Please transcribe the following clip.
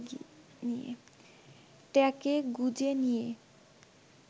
ট্যাঁকে গুঁজে নিয়ে